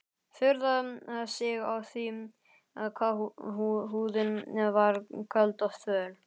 Furðaði sig á því hvað húðin var köld og þvöl.